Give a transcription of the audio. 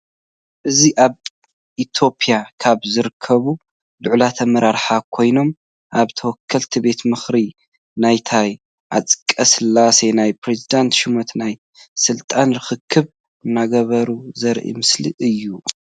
እዚ አብ ኢትዮጵያ ካብ ዝርከቡ ላዕለዎት አመራራሓ ኮይኖም አብ ተወከልቲ ቤት ምክሪ ናይ ታዬ አጽቀ ሥላሴ ናይ ፕረዝደንትነት ሽሞት ናይ ስልጣን ርክክብ እናገበሩ ዘርኢ ምስሊ እዩ ።